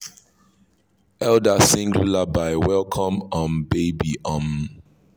elder sing lullaby welcome um baby. um